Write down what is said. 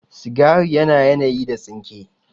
Sigari yana yanayi da tsinke